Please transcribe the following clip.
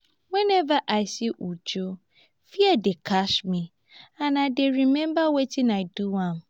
whenever i see uju fear dey catch me and i dey remember wetin i do am